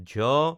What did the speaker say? ঝ